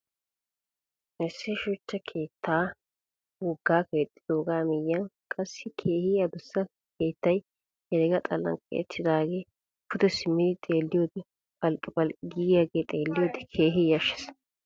Issi shuchcha keettaa woggaa keexxidoogaa miyyiyan qassi keehi adussa keettay herega xallan keexettidaagee pude simmidi xeelliyoode phalqqiphalqqiyaagee xeelliyode keehi yashshes.